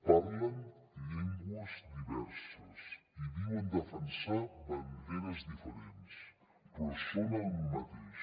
parlen llengües diverses i diuen defensar banderes diferents però són el mateix